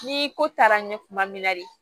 Ni ko taara n ye kuma min na de